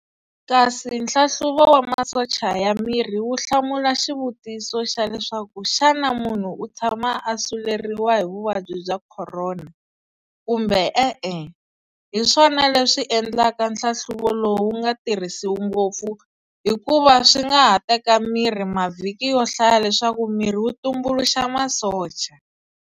Kasi nhlanhluvo wa masocha ya miri wu hlamula xivutiso xa leswaku xana munhu u tshama a suleriwa hi vuvabyi bya khorona, kumbe e-e, hi swona leswi endlaka nhlahluvo lowu nga tirhisiwi ngopfu hi kuva swi nga ha teka miri mavhiki yohlaya leswaku miri wu tumbuluxa masocha.